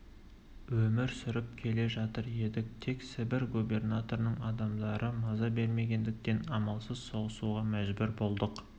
өмір сүріп келе жатыр едік тек сібір губернаторының адамдары маза бермегендіктен амалсыз соғысуға мәжбүр болдық